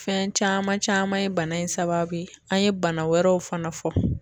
Fɛn caman caman ye bana in sababu ye, an ye bana wɛrɛw fana fɔ.